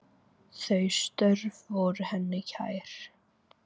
Þau störf voru henni kær.